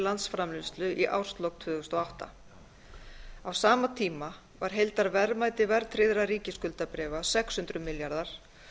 landsframleiðslu í árslok tvö þúsund og átta á sama tíma var heildarverðmæti verðtryggðra ríkisskuldabréfa sex hundruð milljarðar